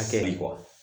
Hakɛ le bɔ